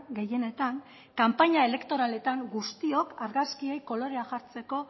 gehienetan kanpaina elektoraletan guztiok argazkiei kolorea jartzeko